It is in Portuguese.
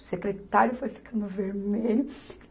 O secretário foi ficando vermelho.